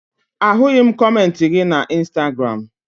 Ahụghị m kọmentị gị na Ịnstagram